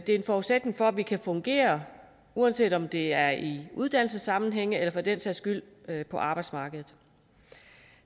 en forudsætning for at vi kan fungere uanset om det er i uddannelsessammenhænge eller for den sags skyld på arbejdsmarkedet